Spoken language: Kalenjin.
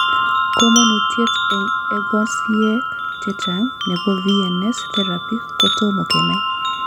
Komonutiet en egosiek chechang' nebo VNS therapy kotomo kenai.